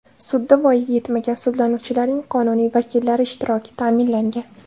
Sudda voyaga etmagan sudlanuvchilarning qonuniy vakillari ishtiroki ta’minlangan.